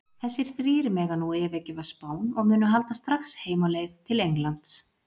Þessir þrír mega nú yfirgefa Spán og munu halda strax heim á leið til Englands.